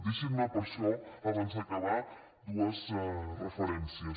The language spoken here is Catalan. deixin me per això abans d’acabar dues referències